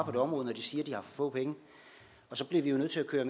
på det område når de siger få penge så bliver vi jo nødt til at